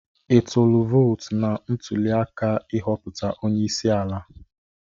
Ịtụlu vootụ na ntuliaka ị hopụta onyeisi ala?